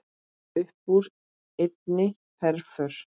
Uppúr einni herför